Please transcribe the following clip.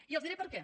i els diré per què